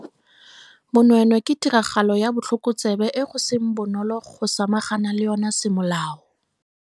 Bonweenwee ke tiragalo ya botlhokotsebe e go seng bonolo go samagana le yona semolao.